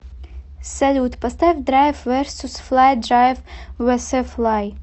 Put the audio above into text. салют поставь драйв версус флай драйв вэсэ флай